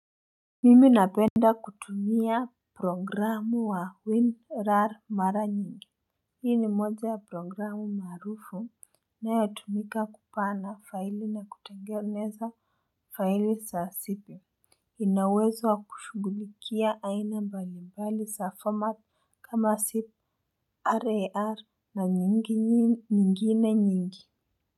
Mimi napenda kutumia programu wa winrar mara nyingi. Hii ni moja ya programu maarufu inayotumika kupanga faili na kutengeneza faili saa sipi. Ina uwezo wa kushughulikia aina mbalimbali za format kama zip, rar na nyingine nyingi.